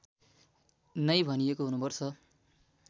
नै भनिएको हुनुपर्छ